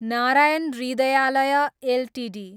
Narayan Hrudayalaya Ltd